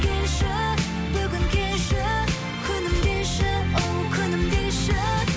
келші бүгін келші күнім деші оу күнім деші